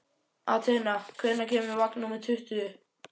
Atena, hvenær kemur vagn númer tuttugu?